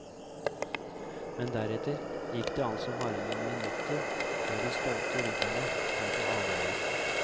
Men deretter gikk det altså bare noen minutter før de stolte rytterne kom på avveier.